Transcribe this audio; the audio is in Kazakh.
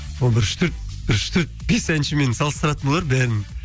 сол бір бір үш төрт бес әншімен салыстыратын болар бәрін